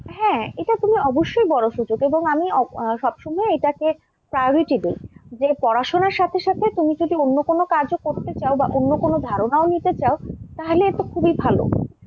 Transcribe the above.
হ্যাঁ এটা তুমি অবশ্যই বড় সুযোগ, এবং আমি আহ সবসময় এটাকে priority দিই যে পড়াশোনার সাথে সাথে তুমি যদি অন্য কোন কাজও করতে চাও বা অন্য কোন ধারণাও নিতে চাও তাহলে এতো খুবই ভাল,